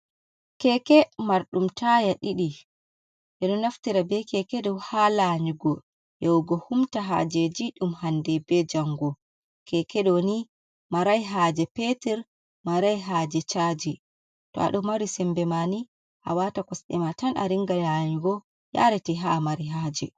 Keke marɗum taya ɗiɗi ɓeɗo naftira be keke ɗo ha lanyugo yahugo humta hajeji ɗum hande be jango. Kekeɗo ni marai haje peter, marai haje chaji, to aɗo mari sembe ma ni awata kosɗima tan a ringa lanyugo yarati ha mari haje.